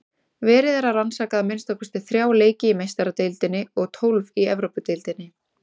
Verið er að rannsaka að minnsta kosti þrjá leiki í Meistaradeildinni og tólf í Evrópudeildinni.